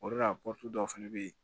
O de la dɔw fɛnɛ bɛ ye